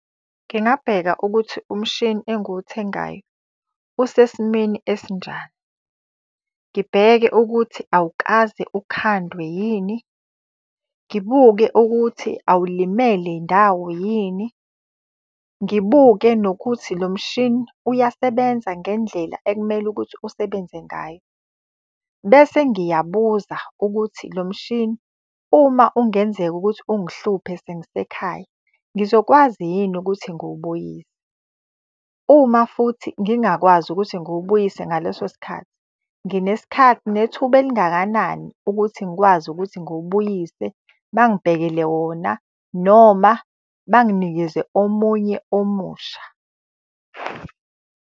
Ngingabheka ukuthi umshini engiwuthengayo usesimeni esinjani. Ngibheke ukuthi awukaze ukhandwe yini. Ngibuke ukuthi awulimele ndawo yini. Ngibuke nokuthi lo mshini uyasebenza ngendlela ekumele ukuthi usebenze ngayo. Bese ngiyabuza ukuthi lo mshini uma ungenzeka ukuthi ungihluphe sengisekhaya, ngizokwazi yini ukuthi ngiwubuyise. Uma futhi ngingakwazi ukuthi ngiwubuyise ngaleso sikhathi , nginethuba elingakanani ukuthi ngikwazi ukuthi ngiwubuyise, bangibhekele wona noma banginikeze omunye omusha.